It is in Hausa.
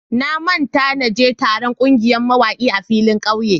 Na manta na je taron kungiyar mawaki a filin ƙauye.